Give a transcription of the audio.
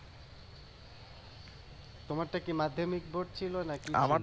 তোমারটা কি মাধ্যমিক বোর্ড ছিল না কি ছিল